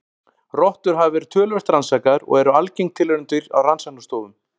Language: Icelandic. Rottur hafa verið töluvert rannsakaðar og eru algeng tilraunadýr á rannsóknastofum.